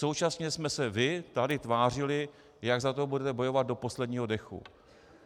Současně jste se vy tady tvářili, jak za to budete bojovat do posledního dechu.